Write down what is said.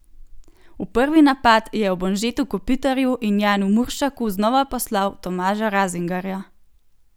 V prvi napad je ob Anžetu Kopitarju in Janu Muršaku znova poslal Tomaža Razingarja.